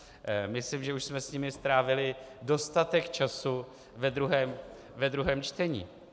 Myslím, že už jsme s nimi strávili dostatek času ve druhém čtení.